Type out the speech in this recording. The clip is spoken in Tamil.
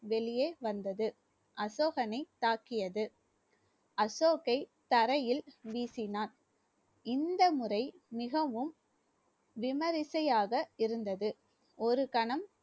வெளியே வந்தது அசோகனை தாக்கியது அசோக்கை தரையில் வீசினான் இந்த முறை மிகவும் விமரிசையாக இருந்தது ஒரு கணம்